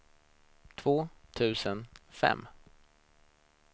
två tusen fem